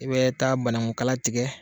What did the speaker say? I bɛ taa banaku kala tigɛ